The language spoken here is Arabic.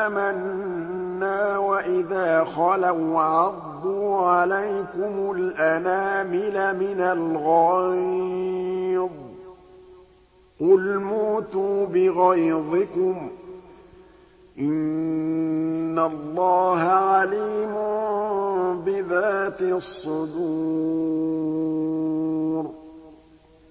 آمَنَّا وَإِذَا خَلَوْا عَضُّوا عَلَيْكُمُ الْأَنَامِلَ مِنَ الْغَيْظِ ۚ قُلْ مُوتُوا بِغَيْظِكُمْ ۗ إِنَّ اللَّهَ عَلِيمٌ بِذَاتِ الصُّدُورِ